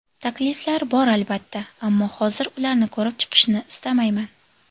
Takliflar bor albatta, ammo hozir ularni ko‘rib chiqishni istamayman.